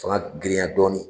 Fanga girinya dɔɔnin